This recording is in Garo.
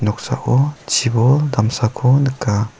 noksao chibol damsako nika.